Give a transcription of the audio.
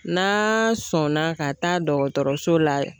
N'a sɔnna ka taa dɔgɔtɔrɔso la